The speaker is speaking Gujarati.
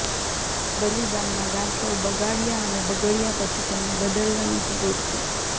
બલિદાનના ગાંઠો બગાડ્યા અને બગડ્યા પછી તેમને બદલવાની જરૂર છે